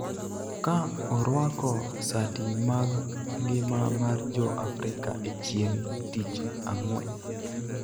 ka orwako sati mag ngima mar Jo-Afrika e chieng� tich Ang�wen